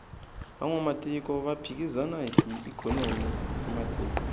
vanwamatiko va phikizana hi ikhonomi ya matiko